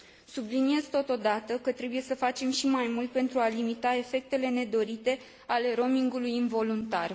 Subliniez, totodată, că trebuie să facem și mai mult pentru a limita efectele nedorite ale roamingului involuntar.